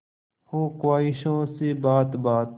हो ख्वाहिशों से बात बात